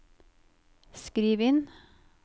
skriv inn